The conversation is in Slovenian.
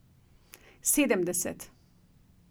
Sedemdeset.